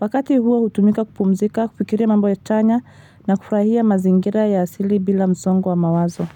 Wakati huo hutumika kupumzika, kupikiria mambo ya tanya na kufurahia mazingira ya asili bila mzongo wa mawazo.